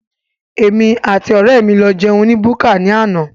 Èmi àti ọrẹ mí lọ jẹun ní búkà ní àna